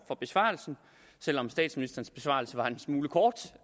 for besvarelsen selv om statsministerens besvarelse var en smule kort